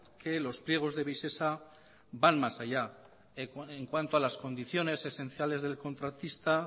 que los pliegos de visesa van más allá en cuanto a las condiciones esenciales del contratista